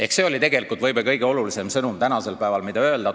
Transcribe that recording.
Ehk see oli tegelikult võib-olla kõige olulisem sõnum tänasel päeval, mida tuli öelda.